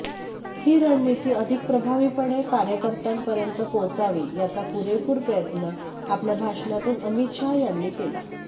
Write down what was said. ही रणनिती अधिक प्रभावीपणे कार्यकर्त्यांपर्यंत पोहोचावी याचा पूरेपूर प्रयत्न आपल्या भाषणातून अमित शाह यांनी केला